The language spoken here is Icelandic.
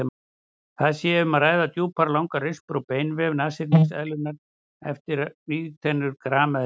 Þar sé um að ræða djúpar og langar rispur á beinvef nashyrningseðlunnar eftir vígtennur grameðlunnar.